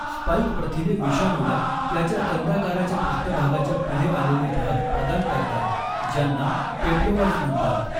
Spike प्रथिने विषाणूला त्याच्या कंदाकाराच्या पृष्ठभागाच्या पुढे आलेले भाग प्रदान करतात, ज्यांना पेप्लोमर्स म्हणतात.